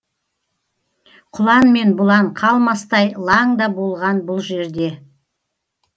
құлан мен бұлан қалмастай лаң да болған бұл жерде